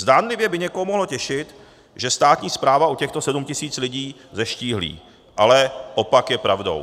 Zdánlivě by někoho mohlo těšit, že státní správa o těchto 7 tis. lidí zeštíhlí, ale opak je pravdou.